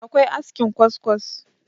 akwai askin kwaskwas